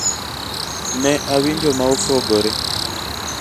ne awinjo ma opogore